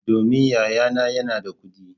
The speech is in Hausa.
Domin yayana yana da kudi.